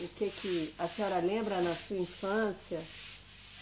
O que que a senhora lembra na sua infância?